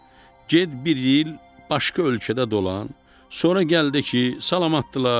Get bir il başqa ölkədə dolan, sonra gəldi ki, salamatdırlar.